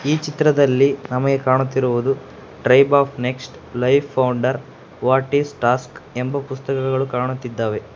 ಈ ಚಿತ್ರದಲ್ಲಿ ನಮಗೆ ಕಾಣುತ್ತಿರುವುದು tribe of next life founder what is task ಎಂಬ ಪುಸ್ತಕಗಳು ಕಾಣುತ್ತಿದ್ದಾವೆ.